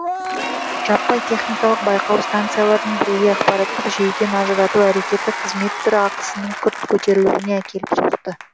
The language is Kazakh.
жаппай техникалық байқау станцияларын бірегей ақпараттық жүйеден ажырату әрекеті қызмет түрі ақысының күрт көтерілуіне әкеліп соқты